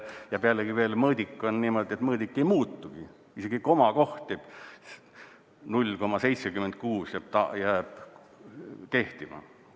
Ja pealegi veel mõõdik on niimoodi, et mõõdik ei muutugi, isegi komakoht – 0,76 – jääb kehtima.